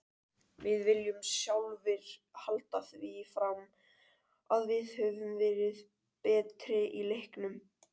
Við viljum sjálfir halda því fram að við höfum verið betri í leiknum.